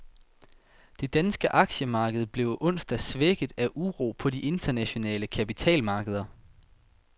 Det danske aktiemarked blev onsdag svækket af uro på de internationale kapitalmarkeder.